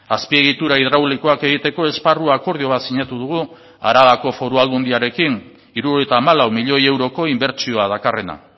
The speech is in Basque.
azpiegitura hidraulikoak egiteko esparru akordio bat sinatu dugu arabako foru aldundiarekin hirurogeita hamalau milioi euroko inbertsioa dakarrena